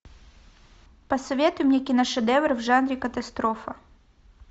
посоветуй мне киношедевр в жанре катастрофа